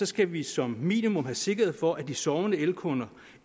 skal vi som minimum have sikkerhed for at de sovende elkunder